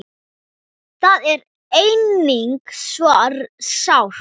Það er einnig svo sárt.